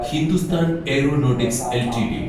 Hindustan aeronautics LTD